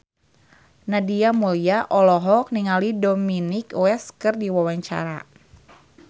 Nadia Mulya olohok ningali Dominic West keur diwawancara